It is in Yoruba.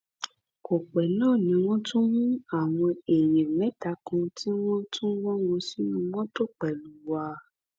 kò pẹ náà ni wọn tún mú àwọn èèyàn mẹta kan tí wọn tún wọ wọn sínú mọtò pẹlú wa